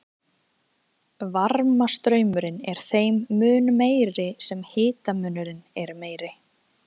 varmastraumurinn er þeim mun meiri sem hitamunurinn er meiri